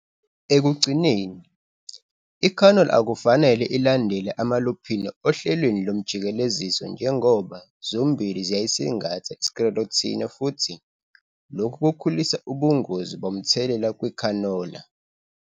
Ekugcineni, ikhanola akufanele ilandele amaluphini ohlelweni lomjikeleziso njengoba zombili ziyayisingatha i-Sclerotinia futhi lokhu kukhulisa ubungozi bomthelela kukhanola.